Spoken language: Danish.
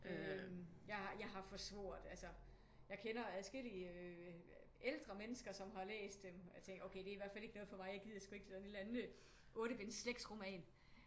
Øh jeg har forsvoret altså jeg kender adskillige ældre mennesker som har læst dem og jeg tænker okay det er i hvert fald ikke noget for mig jeg gider sgu ikke sådan en eller anden otte-binds slægtsroman